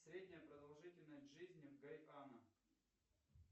средняя продолжительность жизни в гайана